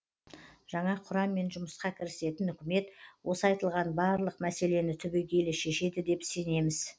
жаңа құраммен жұмысқа кірісетін үкімет осы айтылған барлық мәселені түбегейлі шешеді деп сенеміз